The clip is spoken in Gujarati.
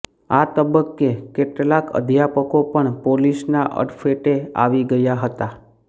આ તબક્કે કેટલાક અધ્યાપકો પણ પોલીસના અડફેટે આવી ગયા હતા